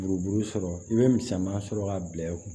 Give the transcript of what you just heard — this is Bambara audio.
Buruburu sɔrɔ i bɛ misɛman sɔrɔ k'a bila i kun